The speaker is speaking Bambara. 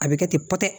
A bɛ kɛ ten pɔtɔt